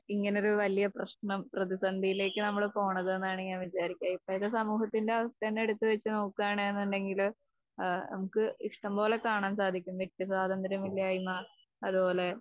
ഇങ്ങനൊരു വലിയ പ്രശ്നം പ്രതിസന്ധിയിലേക്ക് നമ്മള് പോണത്ന്നാണ് ഞാൻ വിചാരിക്യാ.ഇപ്പോഴത്തെ സമൂഹത്തിന്റെ അവസ്ഥതന്നെ എടുത്തുവെച്ച് നോക്കുവാണ്ന്ന് ഉണ്ടെങ്കില് നമുക്ക് ഇഷ്ടംപോലെ കാണാൻ സാധിക്കും വ്യക്തിസ്വാതന്ത്രം ഇല്ലായ്മ അതുപോലെ